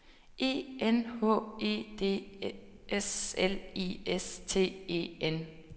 E N H E D S L I S T E N